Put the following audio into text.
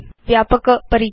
व्यापक परीक्षा